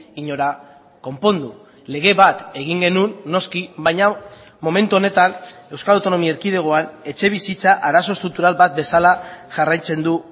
inora konpondu lege bat egin genuen noski baina momentu honetan euskal autonomia erkidegoan etxebizitza arazo estruktural bat bezala jarraitzen du